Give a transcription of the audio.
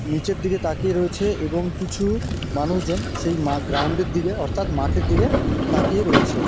নিচের দিকে তাকিয়ে রয়েছে এবং কিছু মানুষ জন সেই গ্রাউন্ড -এর দিকে অর্থাৎ মাঠের দিকে তাকিয়ে রয়েছে ।